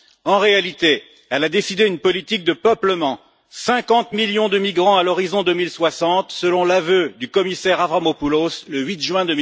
En réalité, elle a décidé une politique de peuplement 50 millions de migrants à l'horizon 2060, selon l'aveu du commissaire Avramopoulos, le 8 juin